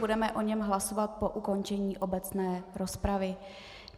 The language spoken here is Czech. Budeme o něm hlasovat po ukončení obecné rozpravy.